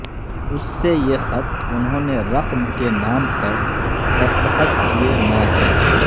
اس سے یہ خط انہوں نے رقم کے نام پر دستخط کئے میں ہے